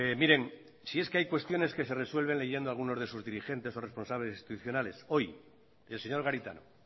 miren si es que hay cuestiones que se resuelven leyendo algunos de sus dirigentes o responsables institucionales hoy el señor garitano